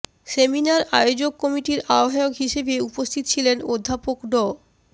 seminar আয়োজক কমিটির আহবায়ক হিসেবে উপস্থিত ছিলেন অধ্যাপক ড